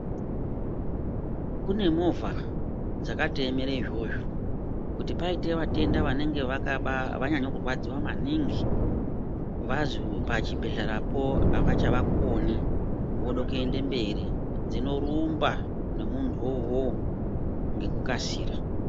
Kune movha dzakatoemere izvozvo kuti paite vatenda vanenge vakaba vanyanyekurwadziwa maningi vazwi pachibhedhleyapo avachavakoni vode kuyenda mberi dzinorumba nemuntu wowowo ngekukasira